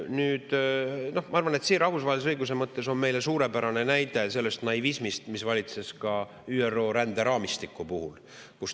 Nüüd, ma arvan, et rahvusvahelise õiguse mõttes on suurepärane näide sellest naivismist, mis on valitsenud ka ÜRO ränderaamistiku puhul.